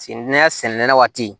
sɛnɛnen waati